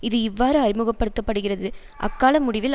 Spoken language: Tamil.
இது இவ்வாறு அறிமுக படுத்த படுகிறது அக்கால முடிவில்